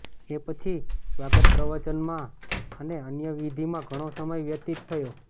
એ પછી સ્વાગતપ્રવચનમાં અને અન્ય વિધિમાં ઘણો સમય વ્યતીત થયો